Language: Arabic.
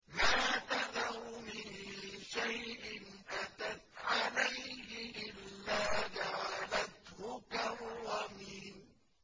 مَا تَذَرُ مِن شَيْءٍ أَتَتْ عَلَيْهِ إِلَّا جَعَلَتْهُ كَالرَّمِيمِ